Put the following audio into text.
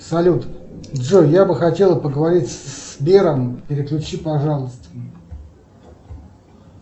салют джой я бы хотела поговорить со сбером переключи пожалуйста